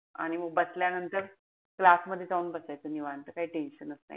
आणि म बसल्यानंतर class मध्ये जाऊन बसायचं निवांत. आता काई tension च नाई.